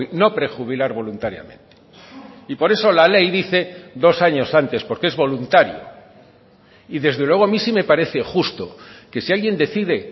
no prejubilar voluntariamente y por eso la ley dice dos años antes porque es voluntario y desde luego a mí sí me parece justo que si alguien decide